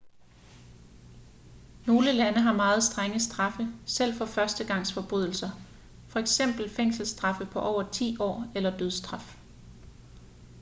nogle lande har meget strenge straffe selv for førstegangsforbrydelser f.eks fængselsstraffe på over 10 år eller dødsstraf